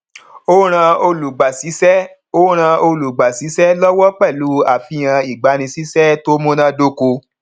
ó ràn olùgbàsísẹ ó ràn olùgbàsísẹ lọwọ pẹlú àfihàn ìgbanisísé tó munádókó